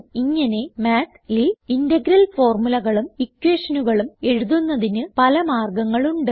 ഇങ്ങനെ Mathൽ ഇന്റഗറൽ formulaകളും equationകളും എഴുതുന്നതിന് പല മാർഗങ്ങൾ ഉണ്ട്